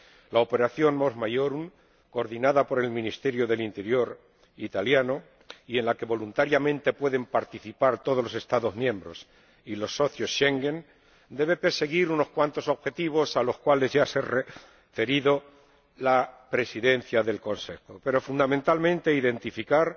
La operación Mos Maiorum coordinada por el Ministerio del Interior italiano y en la que voluntariamente pueden participar todos los Estados miembros y los socios Schengen, debe perseguir unos cuantos objetivos a los cuales ya se ha referido la Presidencia del Consejo, pero fundamentalmente identificar,